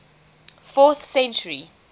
fourth century